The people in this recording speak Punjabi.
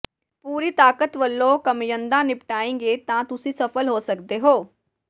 ਪੂਰੀ ਤਾਕਤ ਵਲੋਂ ਕੰਮਧੰਦਾ ਨਿਪਟਾਏੰਗੇ ਤਾਂ ਤੁਸੀ ਸਫਲ ਹੋ ਸੱਕਦੇ ਹੋ